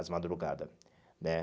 Às madrugada, né?